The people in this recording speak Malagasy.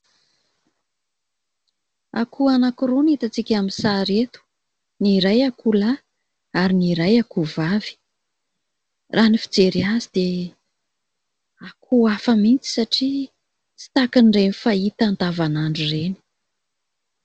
Akoho anakiroa no hitantsika amin'ny sary eto : Ny iray akoho lahy, ny iray akoho vavy. Raha ny fijery azy dia akoho hafa mihitsy satria tsy tahakan'ireny fahita andavan'andro ireny.